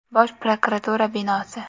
Bosh prokuratura binosi.